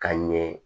Ka ɲɛ